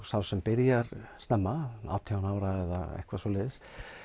sá sem byrjar snemma átján ára eða eitthvað svoleiðis